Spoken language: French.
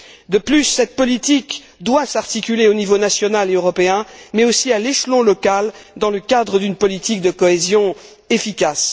De plus, cette politique doit s'articuler au niveau national et européen mais aussi à l'échelon local dans le cadre d'une politique de cohésion efficace.